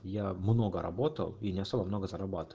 я много работал и не особо много зарабаты